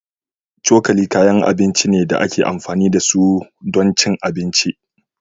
Cokali kayan abinci ne da ake amfani da su don cin abinci